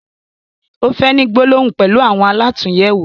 O fẹ ni gbólóhùn pẹlu àwọn alàtúnyẹwò.